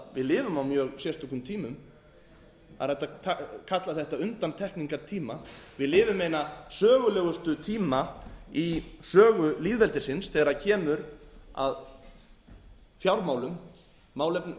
lifum á mjög sérstökum tímum það er hægt að kalla eitt undantekningartíma við lifum eina sögulegustu tíma í sögu lýðveldisins þegar kemur að